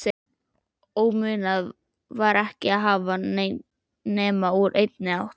Og munað var ekki að hafa nema úr einni átt